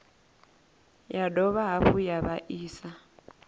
ya dovha hafhu ya vhaisa